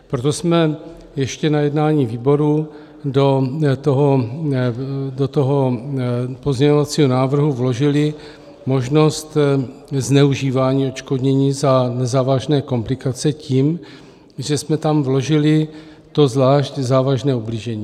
Proto jsme ještě na jednání výboru do toho pozměňovacího návrhu vložili možnost zneužívání odškodnění za nezávažné komplikace tím, že jsme tam vložili to zvlášť závažné ublížení.